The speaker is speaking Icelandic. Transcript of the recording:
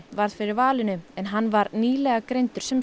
varð fyrir valinu en hann var nýlega greindur sem